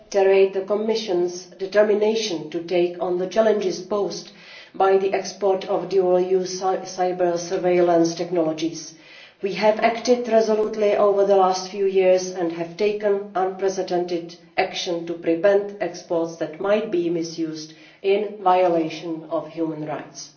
Mr President, allow me to reiterate the Commission's determination to take on the challenges posed by the export of dual use cyber surveillance technologies. We have acted resolutely over the last few years and have taken unprecedented action to prevent exports that might be misused in violation of human rights.